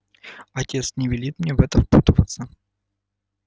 отец не велит мне в это впутываться